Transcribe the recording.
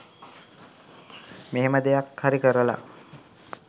මෙහෙම දෙයක් හරි කරලා